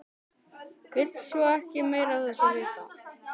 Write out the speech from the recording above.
Vill svo ekki meira af þessu vita.